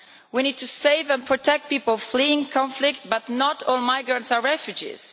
We need to save and protect people fleeing conflict, but not all migrants are refugees.